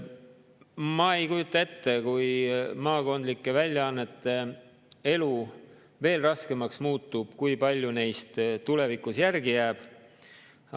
Ma ei kujuta ette, kui maakondlike väljaannete elu veel raskemaks muutub, kui palju neist tulevikus järele jääb.